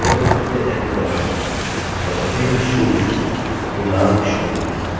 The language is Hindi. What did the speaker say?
और अभी यह शून्य है पूर्णांक शून्य